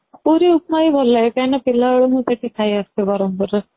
ପୁରୀ ଉପମା ହି ଭଲ ଲାଗେ କାହିଁକି ନା ପିଲା ବେଳୁ ମୁଁ ସେଇଟା ଖାଇ ଆସୁଛି ବ୍ରହ୍ମପୁର ରେ